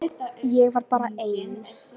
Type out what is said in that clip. Ég var bara ein.